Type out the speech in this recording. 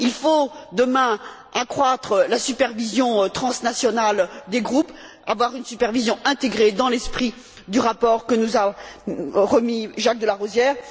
Il faut, demain, accroître la supervision transnationale des groupes, avoir une supervision intégrée dans l'esprit du rapport que nous a remis Jacques de La Rosière.